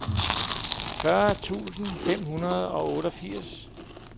fyrre tusind fem hundrede og otteogfirs